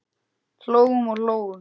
Hlógum og hlógum.